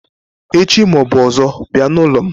Echi ma ọ bụ ọzọ bịa n'ụlọ m